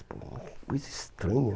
Pô, que coisa estranha.